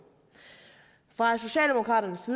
fra socialdemokraternes